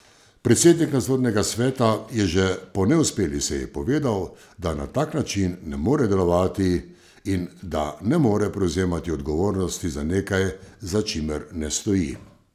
Predsednik nadzornega sveta je že po neuspeli seji povedal, da na tak način ne more delovati in da ne more prevzemati odgovornosti za nekaj, za čimer ne stoji.